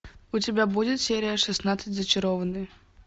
у тебя будет серия шестнадцать зачарованные